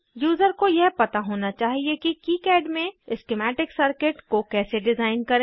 user को यह पता होना चाहिए कि किकाड में स्किमैटिक सर्किट को कैसे डिज़ाइन करें